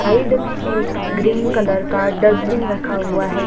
Side में एक green colour का डस्टबिन रखा हुआ है।